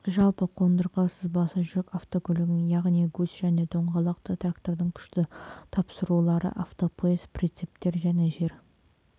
жалпы қондырғы сызбасы жүк автокөлігінің яғни гусь және доңғалақты трактордың күшті тапсырулары автопоезд прицептер және жер